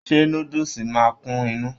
ṣé núdúsí máa n kún inú?